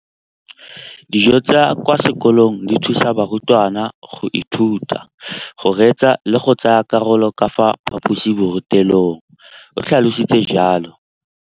Dijo tsa kwa sekolong dithusa barutwana go ithuta, go reetsa le go tsaya karolo ka fa phaposiborutelong, o tlhalositse jalo.